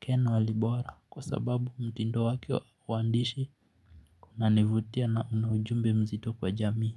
Ken Walibora kwa sababu mtindo wake wa uandishi kuna nivutia na una ujumbe mzito kwa jamii.